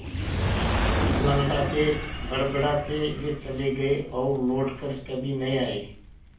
लँगड़ाते बड़बड़ाते वे चले गए और लौट कर कभी नहीं आए